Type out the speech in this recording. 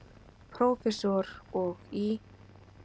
Prófessor, og í